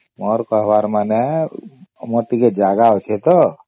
ମୋର କହିବାର ମାନେ ଆମର ଟିକେ ଜାଗା ଅଛେ ତ